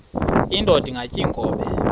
indod ingaty iinkobe